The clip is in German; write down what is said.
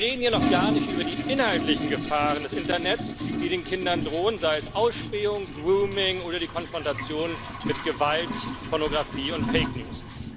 Wir reden hier noch gar nicht über die inhaltlichen Gefahren des Internets, die den Kindern drohen sei es Ausspähung, Grooming oder die Konfrontation mit Gewalt, Pornografie und Fake News.